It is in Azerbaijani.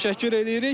təşəkkür eləyirik.